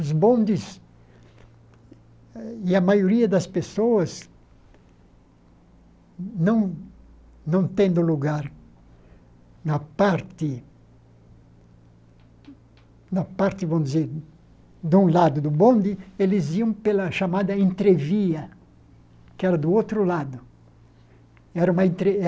Bondes e a maioria das pessoas não não tendo lugar na parte, na parte, vamos dizer, de um lado do bonde, eles iam pela chamada entrevia, que era do outro lado era uma